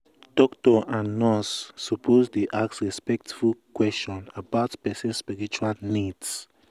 doctor and nurse suppose dey ask respectful question about person spiritual needs